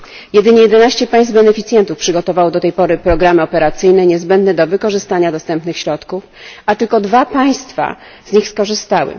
Jedynie 11 państw beneficjentów przygotowało do tej pory programy operacyjne niezbędne do wykorzystania dostępnych środków, a tylko dwa państwa z nich skorzystały.